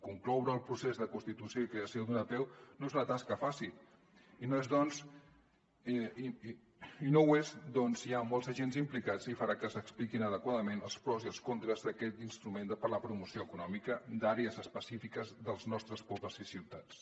concloure el procés de constitució i creació d’una apeu no és una tasca fàcil i no ho és perquè hi ha molts agents implicats i farà que s’expliquin adequadament els pros i els contres d’aquest instrument per a la promoció econòmica d’àrees específiques dels nostres pobles i ciutats